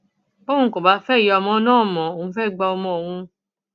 bọun kò bá fẹ ìyá ọmọ náà mọ òun fẹẹ gba ọmọ òun